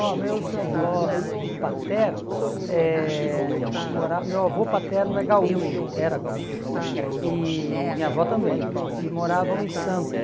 Ó, meus avós paternos, eh mora meu avô paterno é gaúcho, era gaúcho, e minha avó também, e moravam em Santos.